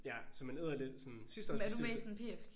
Ja så man æder lidt sådan sidste års bestyrelse